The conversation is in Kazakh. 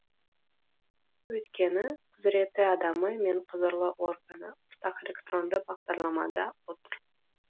өйткені құзыретті адамы мен құзырлы органы ортақ электронды бағдарламада отыр